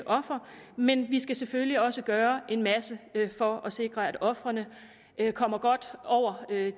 offer men at vi selvfølgelig også skal gøre en masse for at sikre at ofrene kommer godt over